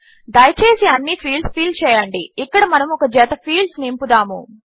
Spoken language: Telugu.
దయచేసి అన్ని ఫీల్డ్స్ ఫిల్ చేయండి ఇక్కడ మనము ఒక జత ఫీల్డ్స్ నింపుదాము